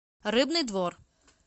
рыбный двор